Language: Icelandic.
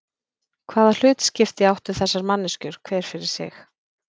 Hvaða hlutskipti áttu þessar manneskjur hver fyrir sig?